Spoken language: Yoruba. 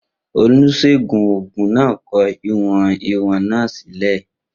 Oníṣègùn òògùn náà kọ ìwọ̀n ìwọ̀n náà sílẹ̀.